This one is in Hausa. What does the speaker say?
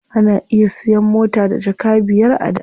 Ana iya siyan mota da jaka biyar a da.